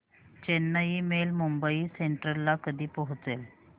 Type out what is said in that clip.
Chennai mail Mumbai central ला कधी पोहचेल